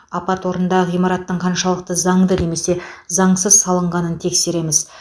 апат орнындағы ғимараттың қаншалықты заңды немесе заңсыз салынғанын тексереміз